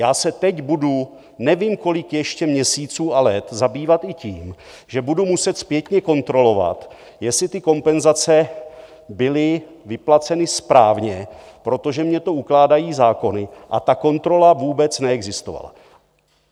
Já se teď budu nevím kolik ještě měsíců a let zabývat i tím, že budu muset zpětně kontrolovat, jestli ty kompenzace byly vyplaceny správně, protože mně to ukládají zákony, a ta kontrola vůbec neexistovala.